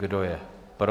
Kdo je pro?